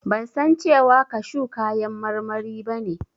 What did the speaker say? Ban san cewa kashu kayan marmari ba ne.